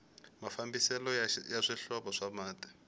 mafambiselo ya swihlovo swa mati